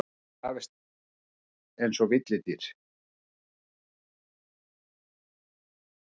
Krefjist einsog villidýr.